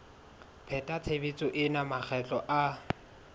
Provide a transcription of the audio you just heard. pheta tshebetso ena makgetlo a